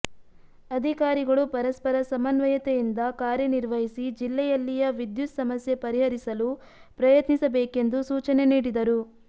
ಅಧಿಕಾರಿಗಳು ಪರಸ್ಪರ ಸಮನ್ವಯತೆಯಿಂದ ಕಾರ್ಯನಿರ್ವಹಿಸಿ ಜಿಲ್ಲೆಯಲ್ಲಿಯ ವಿದ್ಯುತ್ ಸಮಸ್ಯೆ ಪರಿಹರಿಸಲು ಪ್ರಯತ್ನಿಸಬೇಕೆಂದು ಸೂಚನೆ ನೀಡಿದರು